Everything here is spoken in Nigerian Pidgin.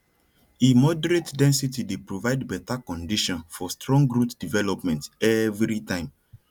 e moderate density dey provide better condition for strong root development every time